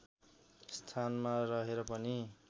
स्थानमा रहेर पनि